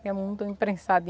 Que é muito